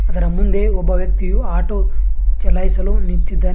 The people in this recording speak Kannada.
ಇದರ ಮುಂದೆ ಒಬ್ಬ ವ್ಯಕ್ತಿ ಆಟೋ ಚಲಾಯಿಸಲು ನಿಂತಿದ್ದಾನೆ.